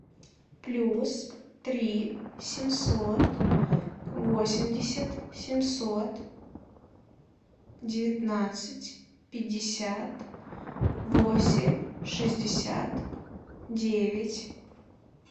плюс три семьсот восемьдесят семьсот девятнадцать пятьдесят восемь шестьдесят девять